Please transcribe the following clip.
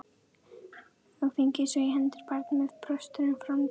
Og fengið svo í hendur barn með brostna framtíð.